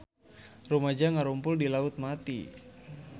Rumaja ngarumpul di Laut Mati